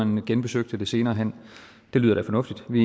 man genbesøgte det senere hen det lyder da fornuftigt vi